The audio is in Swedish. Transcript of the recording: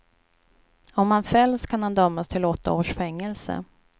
Om han fälls kan han dömas till åtta års fängelse.